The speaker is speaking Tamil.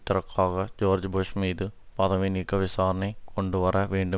ஜோர்ஜ் புஷ் மீது பதவி நீக்க விசாரணை கொண்டுவர வேண்டுமென்று